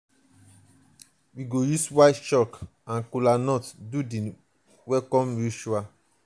we go use white chalk and kola nut do di welcome ritual.